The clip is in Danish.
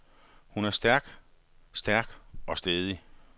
Hun er stærk, stærk og stædig.